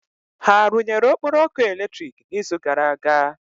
Ha rụnyere Okporo ọkụ eletrik n'izu gara aga?